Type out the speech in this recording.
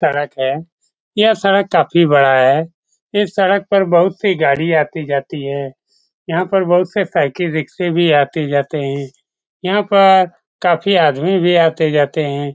सड़क है। यह सड़क काफी बड़ा है। इस सड़क पर बहुत सी गाड़ी आती-जाती है। यहाँ पर बहुत से साइकिल रिक्शा भी आती-जाती है। यहाँ पर काफी आदमी भी आते-जाते है।